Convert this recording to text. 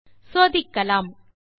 சோதிக்கலாம்